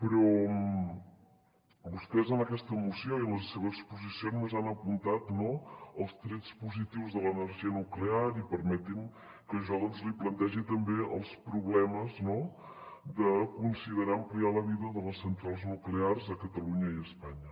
però vostès en aquesta moció i en la seva exposició només han apuntat no els trets positius de l’energia nuclear i permeti’m que jo doncs li plantegi també els problemes de considerar ampliar la vida de les centrals nuclears a catalunya i a espanya